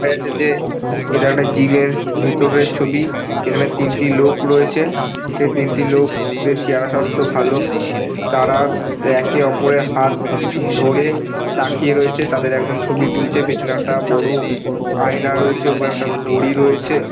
দেখা যাচ্ছে যে এইটা একটা জিমের ভিতরের ছবি । তিনটি লোক রয়েছে সেই লোক দের চেহারা স্বাস্থ্য ভালো। তারা একে ওপরের হাত ধরে তাকিয়ে রয়েছে। তাদের একজন ছবি তুলছে। পিছনে একটা বড়ো আয়না রয়েছে। উপরে একটা ঘড়ি রয়েছে।